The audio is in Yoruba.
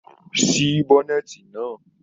Sí í bọ́nẹ̀ẹ́eti náà.